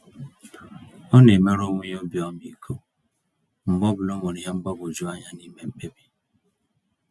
Ọna emere onwe ya obi ọmịiko mgbe ọbụla onwere ìhè mgbagwoju anya n'ime mkpebi.